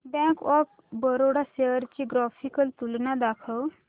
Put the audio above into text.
bank of Baroda shares ची graphical तुलना दाखव